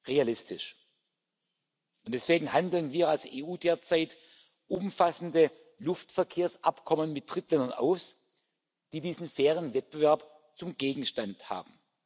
realistisch, und deswegen handeln wir als EU derzeit umfassende Luftverkehrsabkommen mit Drittländern aus, die diesen fairen Wettbewerb zum Gegenstand haben.